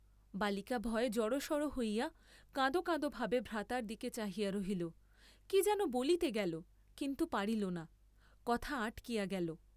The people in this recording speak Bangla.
বালিকা ভয়ে জড়সড় হইয়া কাঁদ কাঁদ ভাবে ভ্রাতার দিকে চাহিয়া রহিল, কি যেন বলিতে গেল কিন্তু পারিল না, কথা আটকিয়া গেল।